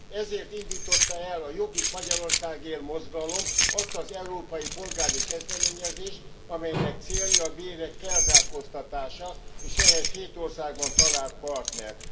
Ezért indította el a Jobbik Magyarországért Mozgalom azt az európai polgári kezdeményezést, amelynek célja a bérek felzárkóztatása, és ehhez hét országban talált partnert.